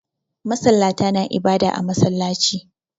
Masallata na ibada a masallaci